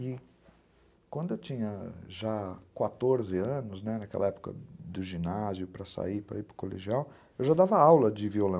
E quando eu tinha já quatorze anos, naquela época do ginásio, para sair, para ir para o colegial, eu já dava aula de violão.